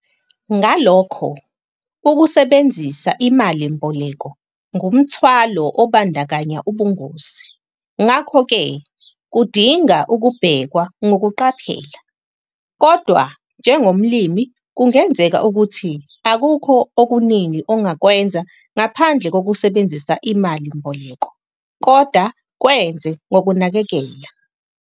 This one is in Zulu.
Ngalokho, ukusebenzisa imalimboleko ngumthwalo obandakanya ubungozi, ngakho ke kudinga ukubhekwa ngokuqaphela. Kodwa njengomlimi kungenzeka ukuthi akukho okuningi ongakwenza ngaphandle kokusebenzisa imali mboleko - kodwa kwenze ngokunakekela.